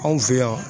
Anw fɛ yan